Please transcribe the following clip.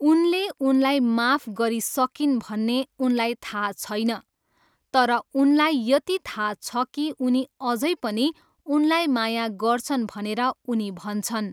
उनले उनलाई माफ गरिसकिन् भन्ने उनलाई थाहा छैन, तर उनलाई यति थाहा छ कि उनी अझै पनि उनलाई माया गर्छन् भनेर उनी भन्छन्।